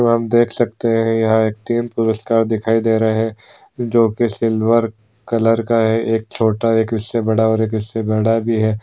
देख सकते है यहाँ तीन पुरस्कार दिखाई दे रहे है। जो के सिल्वर कलर का है। एक छोटा है। भी है।